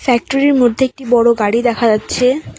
ফ্যাক্টরির মধ্যে একটি বড় গাড়ি দেখা যাচ্ছে।